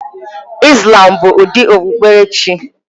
Islam bụ ụdị okpukpere chi